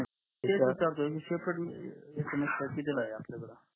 तेच विचारतोय separate SMS pack कितीला आहे